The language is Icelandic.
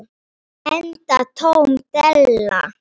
Enda tóm della.